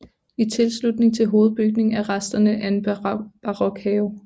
I tilslutning til hovedbygningen er resterne af en barokhave